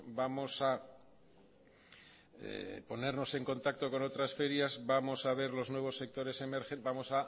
vamos a ponernos en contacto con otras ferias vamos a ver los nuevos sectores emergentes